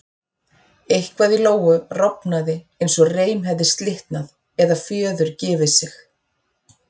Eitthvað í Lóu rofnaði eins og reim hefði slitnað eða fjöður gefið sig.